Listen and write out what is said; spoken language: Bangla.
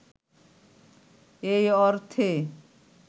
এই অর্থে